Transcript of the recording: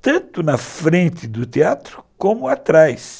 tanto na frente do teatro como atrás.